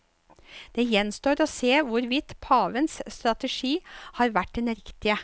Det gjenstår å se hvorvidt pavens strategi har vært den riktige.